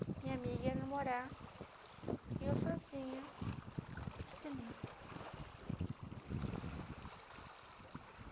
Minha amiga ia namorar e eu sozinha no cinema.